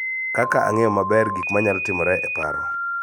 Kaka ang�eyo maber gik ma nyalo timore e paro